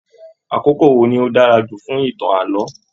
Àkókò wo ní o dára jù fún ìtàn ààlọ́?